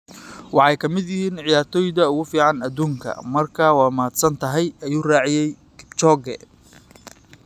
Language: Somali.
"Waxay ka mid yihiin ciyaartoyda ugu fiican adduunka - marka waad mahadsantahay, ayuu raaciyay Kipchoge.